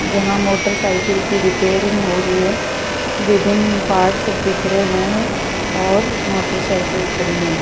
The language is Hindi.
जहां मोटरसाइकिल की रिपेयरिंग हो रही है विभिन्न पार्ट्स बिखरे हुए है और मोटरसाइकिल खड़ी हैं।